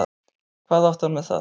Hvað átti hann með það?